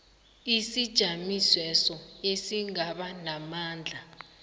isijamisweso esingaba namandla